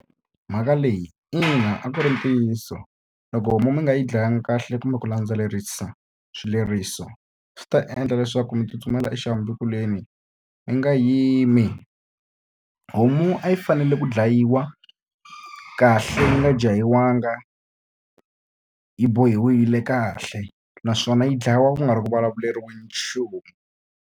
Mhaka leyi ina a ku ri ntiyiso. Loko homu mi nga yi dlaya tlanga kahle kumbe ku landzelerisa swileriso, swi ta endla leswaku mi tsutsumela exihambukelweni mi nga yimi. Homu a yi fanele ku dlayiwa kahle yi nga jahiwangi, yi bohiwile kahle. Naswona yi dlayiwa ku nga ri ku vulavuleriweni nchumu.